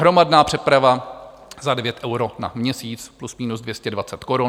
Hromadná přeprava za 9 euro na měsíc, plus minus 220 korun.